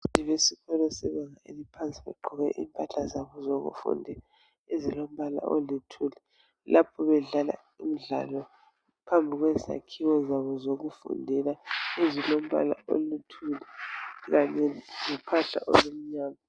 Abantwana besikolo sebanga eliphansi bagqoke impahla zabo zokufunda ezilombala oluthuli lapho bedlala imidlalo phambi kwezakhiwo zabo zokufundela ezilombala oluthuli kanye lophahla olumnyama.